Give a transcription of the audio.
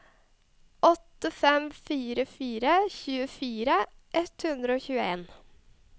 åtte fem fire fire tjuefire ett hundre og tjueen